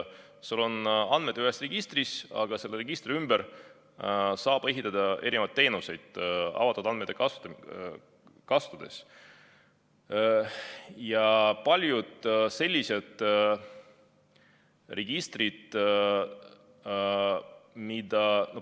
Sul on andmed ühes registris, aga selle registri ümber saab avatud andmeid kasutades ehitada erinevaid teenuseid.